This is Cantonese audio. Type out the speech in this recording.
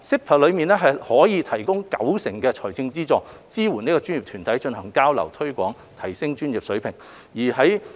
PASS 提供高達九成的財政資助，支援專業團體進行交流、推廣、提升專業水平等。